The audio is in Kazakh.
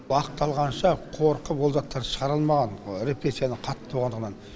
уақыт алғанша қорқып ол жақтан шығара алмаған репрессияның қатты болғандығынан